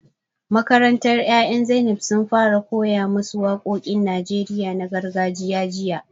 Makarantar yaran Zainab sun fara koya ma su waƙoƙin Najeriya na gargajiya jiya